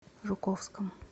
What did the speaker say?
жуковском